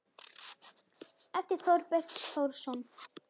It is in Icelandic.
eftir Þorberg Þórsson